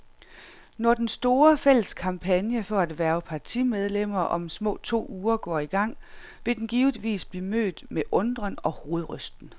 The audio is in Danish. Når den store, fælles kampagne for at hverve partimedlemmer om små to uger går i gang, vil den givetvis blive mødt med undren og hovedrysten.